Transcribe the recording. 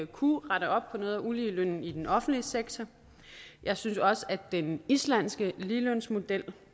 kunne rette op på noget af uligelønnen i den offentlige sektor jeg synes også at den islandske ligelønsmodel